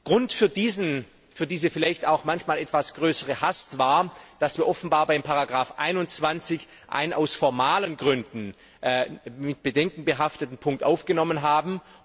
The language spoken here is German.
Grund für diese vielleicht auch manchmal etwas größere Hast war, dass wir offenbar bei Ziffer 21 einen aus formalen Gründen mit Bedenken behafteten Punkt aufgenommen haben.